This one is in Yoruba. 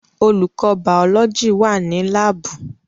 Olùkọ́ bàọ́lọ́jì wà ní láàbù